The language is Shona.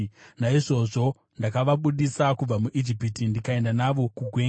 Naizvozvo ndakavabudisa kubva muIjipiti ndikaenda navo kugwenga.